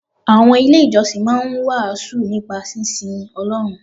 Àwọn ilé ìjọsìn máa ń wàásù nípa sínsin Ọlọ́run.